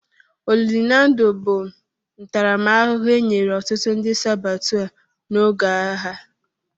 Olili na ndụ bụ ntaramahụhụ e nyere ọtụtụ ndị sabọtua n'oge agha.